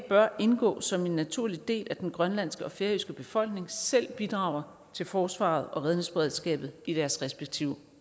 bør indgå som en naturlig del at den grønlandske og færøske befolkning selv bidrager til forsvaret og redningsberedskabet i deres respektive